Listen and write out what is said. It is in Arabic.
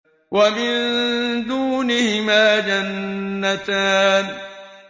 وَمِن دُونِهِمَا جَنَّتَانِ